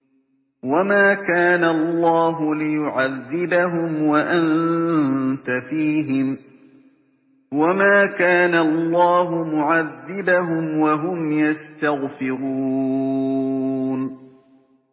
وَمَا كَانَ اللَّهُ لِيُعَذِّبَهُمْ وَأَنتَ فِيهِمْ ۚ وَمَا كَانَ اللَّهُ مُعَذِّبَهُمْ وَهُمْ يَسْتَغْفِرُونَ